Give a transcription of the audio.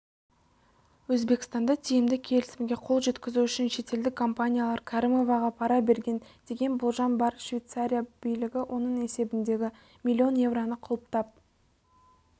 өзбекстанда тиімді келісімге қол жеткізу үшін шетелдік компаниялар кәрімоваға пара берген деген болжам бар швейцария билігі оның есебіндегі миллион евроны құлыптап